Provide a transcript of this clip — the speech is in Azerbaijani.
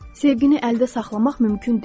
Sevgini əldə saxlamaq mümkün deyil.